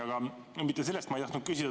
Aga mitte selle kohta ma ei tahtnud küsida.